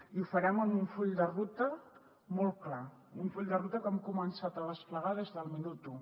i ho farem amb un full de ruta molt clar un full de ruta que hem començat a desplegar des del minut u